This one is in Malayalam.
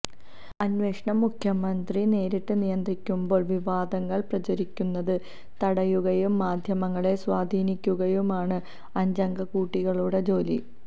അന്വേഷണം മുഖ്യമന്ത്രി നേരിട്ട് നിയന്ത്രിക്കുമ്പോള് വിവാദങ്ങള് പ്രചരിക്കുന്നത് തടയുകയും മാധ്യമങ്ങളെ സ്വാധീനിക്കുകയുമാണ് അഞ്ചംഗക്കൂട്ടാളികളുടെ ജോലി